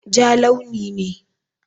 Ja launi ne.